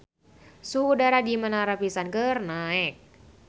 Suhu udara di Menara Pisa keur naek